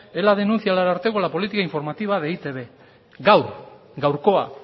ela denuncia al ararteko la política informativa de e i te be gaur gaurkoa